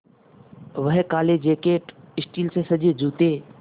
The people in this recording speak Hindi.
वह काले जैकट स्टील से सजे जूते